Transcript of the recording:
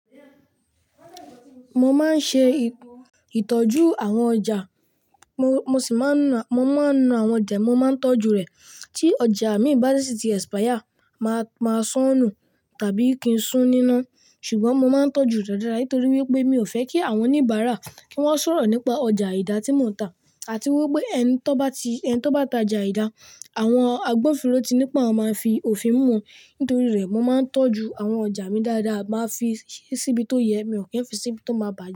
Mo máa ń ṣe ìtọ́jú àwọn ọjà, mo sì máa ń nù àwọn ọjà, mo máa ń tọ́jú rẹ̀. Tí ọjà mìí bá ti sì ti expire, màá sanù tàbí kí n sún ní iná. Ṣùgbọ́n mo máa ń tọ́jú rẹ̀ dáadáa nítorí wípé mi ò fẹ́ kí àwọn oníbàárà kí wọ́n sọ̀rọ̀ nípa ọjà aìdá tí mò ń tà, àti wípé ẹni tó bá ti ẹni tó bá ta jà aìdá, àwọn agbófinró ti ní pé àwon má fi òfin mú. Nítorí rẹ̀, mo máa ń tọ́jú àwọn ọjà mi dáadáa, màá fi síbi tó yẹ, mi ò kí ń fi síbi tó máa bà.